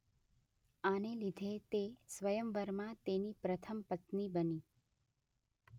આને લીધે તે સ્વયંવરમાં તેની પ્રથમ પત્ની બની.